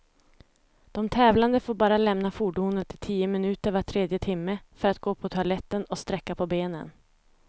De tävlande får bara lämna fordonet i tio minuter var tredje timme, för att gå på toaletten och sträcka på benen.